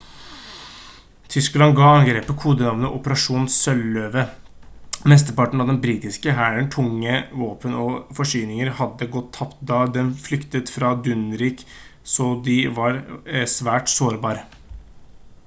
tyskland gav angrepet kodenavnet «operasjon sjøløve». mesteparten av den britiske hærens tunge våpen og forsyninger hadde gått tapt da den flyktet fra dunkirk så de var svært sårbar